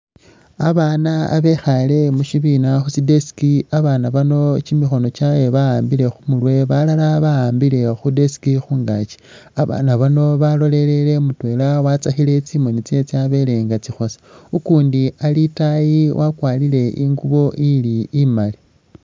Abaana abekhaale mu shibiina khu tsi desk. Abaana bano kimikhono kyabwe ba'ambile khu murwe balala ba'ambile khu desk khungaaki. Abaana bano balolelele mutwela watsakhile tsimoni tsyewe tsyabele nga tsikhosa, ukundi ali itaayi wakwarire ingubo ili imaali.